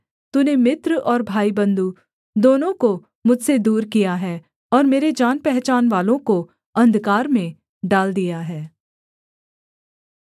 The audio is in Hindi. तूने मित्र और भाईबन्धु दोनों को मुझसे दूर किया है और मेरे जानपहचानवालों को अंधकार में डाल दिया है